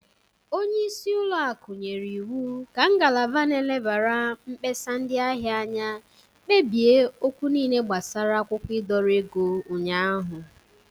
Onyeisi ụlọakụ nyere iwu ka ngalaba n'elebara mkpesa ndị ahia anya kpebie okwu niile gbasara akwụkwọ ịdọrọ ego ụnyaahụ.